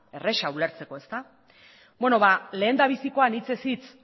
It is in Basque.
erraza ulertzeko ezta beno ba lehendabizikoan hitzez hitz